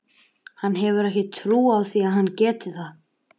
Hann hefur ekki trú á því að hann geti það.